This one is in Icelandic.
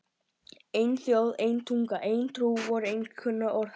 Ein þjóð, ein tunga, ein trú! voru einkunnarorð hans.